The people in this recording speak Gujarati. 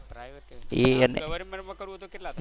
government માં કરવું હોય તો કેટલા થાય?